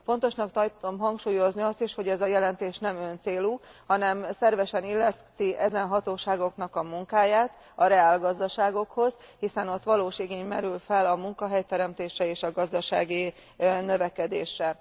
Fontosnak tartom hangsúlyozni azt is, hogy ez a jelentés nem öncélú, hanem szervesen illeszti ezen hatóságoknak a munkáját a reálgazdaságokhoz, hiszen ott valós igény merül fel a munkahelyteremtésre és a gazdasági növekedésre.